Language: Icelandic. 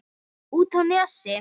Út á Nesi?